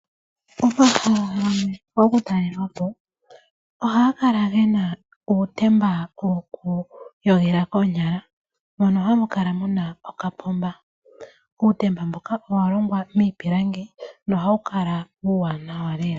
Omahala gamwe gokutalelwapo ohaga kala gena uutemba wokwiiyoga koonyala, mbono hamu kala muna okapoomba . Uutemba mbuka owalongwa miipilangi nohawu kala uuwanawa lela.